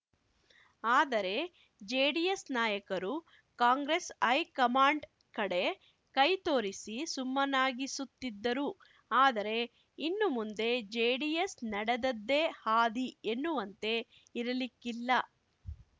ಆದರೆ ಜೆಡಿಎಸ್‌ ನಾಯಕರು ಕಾಂಗ್ರೆಸ್‌ ಹೈಕಮಾಂಡ್‌ ಕಡೆ ಕೈತೋರಿಸಿ ಸುಮ್ಮನಾಗಿಸುತ್ತಿದ್ದರು ಆದರೆ ಇನ್ನು ಮುಂದೆ ಜೆಡಿಎಸ್‌ ನಡೆದದ್ದೇ ಹಾದಿ ಎನ್ನುವಂತೆ ಇರಲಿಕ್ಕಿಲ್ಲ